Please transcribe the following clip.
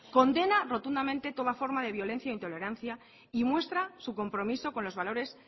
condena rotundamente toda forma de violencia e intolerancia y muestra su compromiso con los valores